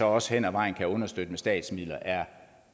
også hen ad vejen kan understøtte med statsmidler er